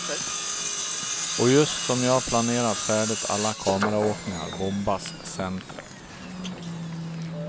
Och just som jag planerat färdigt alla kameraåkningar bombas centret.